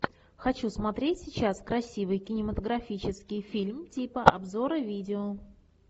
хочу смотреть сейчас красивый кинематографический фильм типа обзора видео